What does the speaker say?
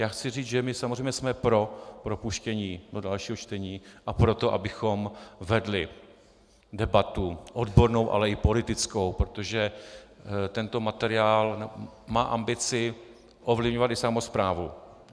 Já chci říct, že my samozřejmě jsme pro propuštění do dalšího čtení a pro to, abychom vedli debatu odbornou, ale i politickou, protože tento materiál má ambici ovlivňovat i samosprávu.